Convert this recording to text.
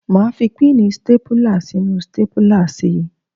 Máa fi píìnì stápùlà sínú stápùlà si.